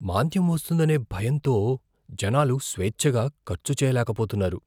మాంద్యం వస్తుందనే భయంతో జనాలు స్వేచ్ఛగా ఖర్చు చేయలేకపొతున్నారు.